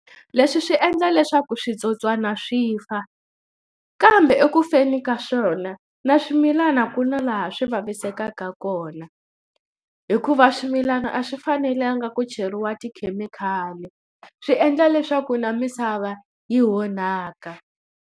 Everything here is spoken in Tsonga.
Leswi swi endla leswaku switsotswana swi fa kambe ekufeni ka swona na swimilana ku na laha swi vavisekaka kona hikuva swimilana a swi fanelanga ku cheriwa tikhemikhali swi endla leswaku na misava yi onhaka.